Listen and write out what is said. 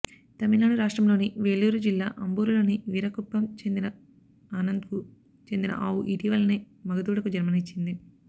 తమిళనాడు రాష్ట్రంలోని వేలూరు జిల్లా అంబూరులోని వీరాకుప్పం గ్రామానికి చెందిన ఆనందన్కు చెందిన ఆవు ఇటీవలనే మగ దూడకు జన్మనిచ్చింది